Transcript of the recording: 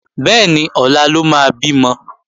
Bẹ́ẹ̀ni, ọ̀la ló máa bímọ